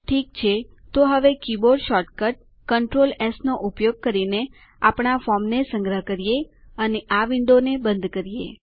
સારું તો હવે કીબોર્ડ શોર્ટકટ કન્ટ્રોલ એસ નો ઉપયોગ કરીને આપણા ફોર્મને સંગ્રહ કરો અને આ વિન્ડોને બંધ કરો